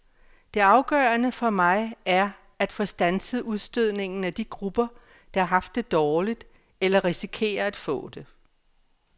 Det afgørende for mig er at få standset udstødningen af de grupper, der har haft det dårligt eller risikerer at få det.